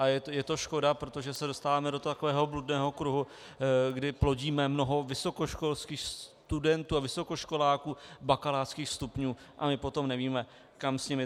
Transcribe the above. A je to škoda, protože se dostáváme do takového bludného kruhu, kdy plodíme mnoho vysokoškolských studentů a vysokoškoláků bakalářských stupňů a my potom nevíme, kam s nimi.